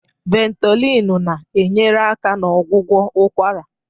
Ventolin na-enyere aka na ọgwụgwọ ụkwara.